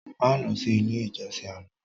Má lọ sí ilé ìjọsìn àná